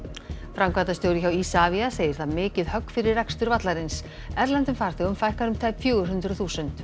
framkvæmdastjóri hjá Isavia segir það mikið högg fyrir rekstur vallarins erlendum farþegum fækkar um tæp fjögur hundruð þúsund